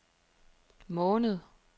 måned